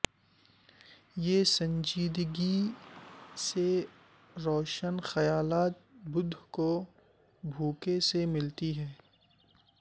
یہ سنجیدگی سے روشن خیالات بدھ کو بھوک سے ملتی ہیں